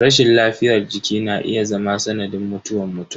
Rashin lafiyar jiki na iya zama sanadin mutuwa mutum.